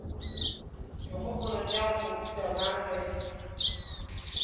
dikgopolo tša mohuta mang ge